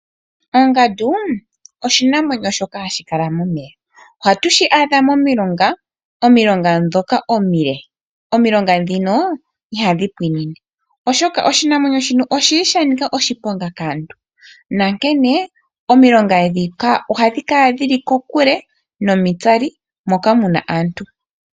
Ongandu oshinamwenyo shoka hashi kala momeya oha tu shi adha momilonga ndhoka omile. Omilonga ndhino ihadhi pwiinine oshoka oshinamwenyo shino oshili sha nika oshiponga kaantu nankene omilonga ndhika ohadhi kala dhili kokule nomitsali moka mu na aantu.